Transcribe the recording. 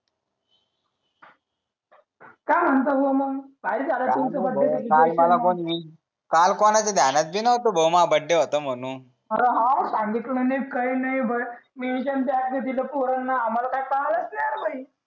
काय म्हणतात भाऊ मंग माझा बर्थडे होता म्हणून सांगितल नाही काही नाही पोरांना आम्हाला काही पाहिलंच नाही बाई